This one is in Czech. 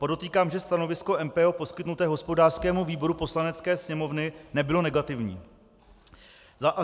Podotýkám, že stanovisko MPO poskytnuté hospodářskému výboru Poslanecké sněmovny nebylo negativní.